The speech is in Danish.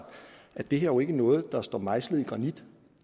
at det her jo ikke er noget der står mejslet i granit